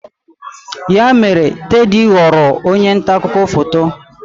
Ya mere, Teddy ghọrọ onye nta akụkọ foto.